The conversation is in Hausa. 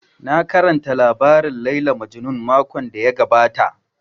Na karanta labarin Layla Majnun makon da ya gabata